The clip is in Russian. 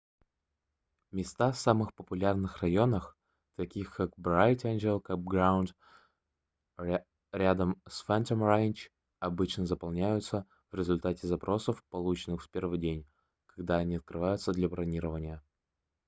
места в самых популярных районах таких как bright angtl campground рядом с phantom ranch обычно заполняются в результате запросов полученных в первый день когда они открываются для бронирования